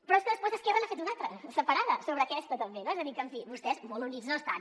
però és que després esquerra n’ha fet una altra separada sobre aquesta també és a dir que en fi vostès molt units no estan